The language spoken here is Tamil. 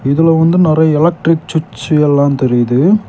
இதுல வந்து நெறைய எலக்ட்ரிக் ஸ்விட்ச் எல்லாம் தெரியுது.